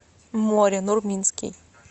море нурминский